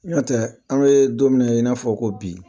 N'o tɛ an be don minna i n'a fɔ ko bi